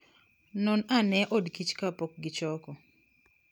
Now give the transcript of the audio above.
Non ane odkich kapok gichoko.